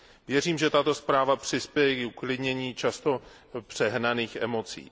Věřím, že tato zpráva přispěje i k uklidnění často přehnaných emocí.